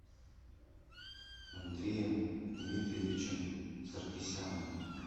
андреем дмитриевичем саркисяном